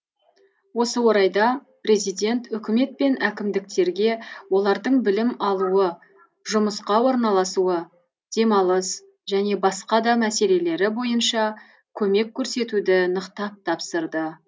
осы орайда президент үкімет пен әкімдіктерге олардың білім алуы жұмысқа орналасуы демалыс және басқа да мәселелері бойынша көмек көрсетуді нықтап тапсырды